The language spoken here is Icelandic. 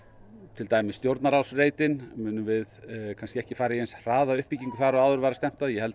til dæmis Stjórnarráðsreitinn munum ekki fara í eins hraða uppbyggingu þar og áður var stefnt að